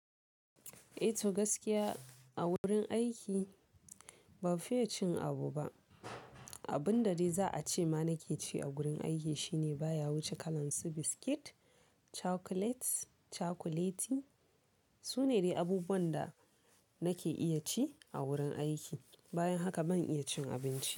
Eh to gaskiya, a wurin aiki ba fiya cin abu ba. Abun da dai za a ce ma nake ci a wurin aiki shine baya wuce kalan su biskit, chocolates, chocolate, su ne dai abubuwan da nake iya ci a wurin aiki. Bayan haka ban iya cin abinci.